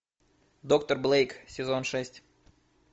доктор блейк сезон шесть